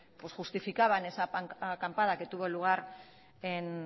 justificaban esa acampada que tuvo lugar en